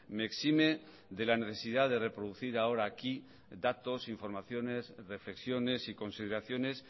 me exime de la necesidad de reproducir ahora aquí datos informaciones reflexiones y consideraciones